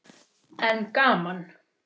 En gaman.